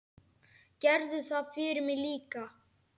Gerðu það fyrir mig líka.